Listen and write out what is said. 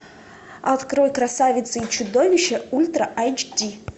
открой красавица и чудовище ультра айч ди